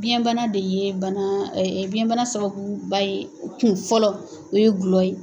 Biyɛnbana de ye biyɛnbana sababuba ye kun fɔlɔ o ye dɔlɔ ye!